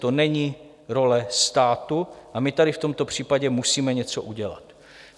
To není role státu a my tady v tomto případě musíme něco udělat.